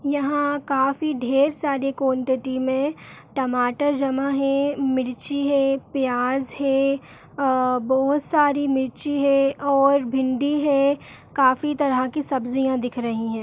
यहाँ काफी ढेर सारे क्वांटिटी में टमाटर जमा है मिर्ची है प्याज़ है अ बहोत सारी मिर्ची है और भिंडी है काफी तरह के सब्जियाँ दिख रहीं हैं।